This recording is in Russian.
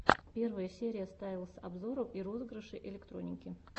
первая серия стайлэс обзоров и розыгрышей электроники